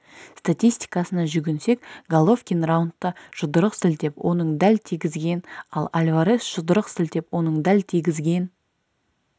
статистикасына жүгінсек головкин раундта жұдырық сілтеп оның дәл тигізген ал альварес жұдырық сілтеп оның дәл тигізген